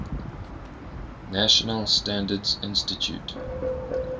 national standards institute